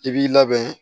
I b'i labɛn